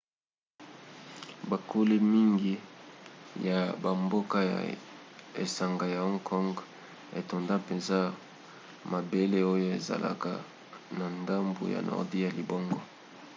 bokoli mingi ya bamboka ya esanga ya hong kong etonda mpenza na mabele oyo ezalaka na ndambu ya nordi ya libongo